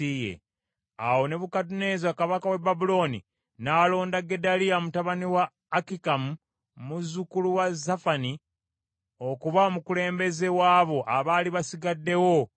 Awo Nebukadduneeza kabaka w’e Babulooni n’alonda Gedaliya mutabani wa Akikamu, muzzukulu wa Safani okuba omukulembeze w’abo abaali basigaddewo mu Yuda.